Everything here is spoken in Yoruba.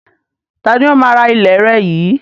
Ta ni ó máa rà ilẹ̀ rẹ yìí